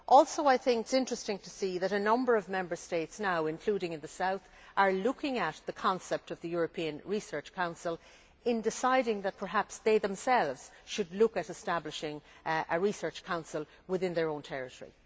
It is also interesting to see that a number of Member States, including in the south, are now looking at the concept of the European Research Council in deciding that perhaps they themselves should look at establishing a research council within their own territory.